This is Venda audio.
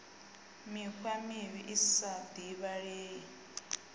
mikhwa mivhi i sa divhalei